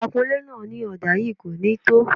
Akunlé náà ní ọ̀dà yìí kò ní tó